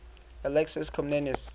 alexius comnenus